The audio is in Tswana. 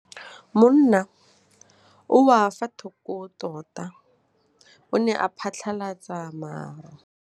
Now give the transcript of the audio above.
Mowa o wa go foka tota o ne wa phatlalatsa maru.